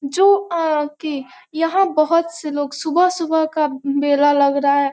जो अ की यहाँ बहुत से लोग सुबह सुबह का बेला लग रहा है।